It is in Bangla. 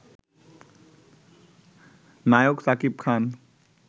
নায়ক শাকিব খান